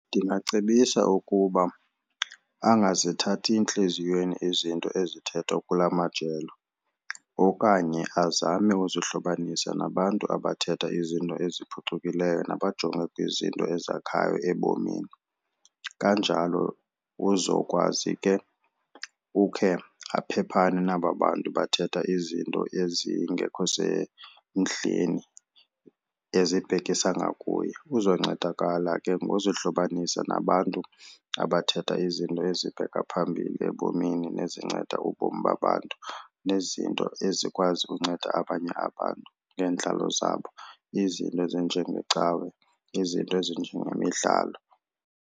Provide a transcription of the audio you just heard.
Ndingacebisa ukuba angazithathi entliziyweni izinto ezithethwa kula majelo okanye azame uzohlukanisa nabantu abathetha izinto eziphucukileyo nabajonge kwizinto ezakhayo ebomini. Kanjalo uzokwazi ke ukhe aphephane naba bantu bathetha izinto ezingekho semdleni ezibhekisa ngakuye. Uzoncedakala ke ngozohlukanisa nabantu abathetha izinto ezibheke phambili ebomini nezinceda ubomi babantu nezinto ezikwazi ukunceda abanye abantu neentlalo zabo, izinto ezinjengecawe izinto ezinjengemidlalo.